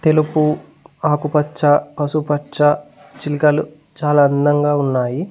తెలుపు ఆకుపచ్చ పసుపు పచ్చ చిలకలు చాలా అందంగా ఉన్నాయి.